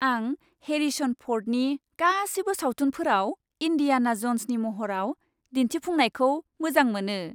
आं हेरिसन फ'र्डनि गासिबो सावथुनफोराव इन्डियाना ज'न्सनि महराव दिन्थिफुंनायखौ मोजां मोनो।